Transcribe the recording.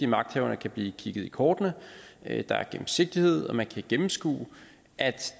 magthaverne kan blive kigget i kortene at der er gennemsigtighed og man kan gennemskue at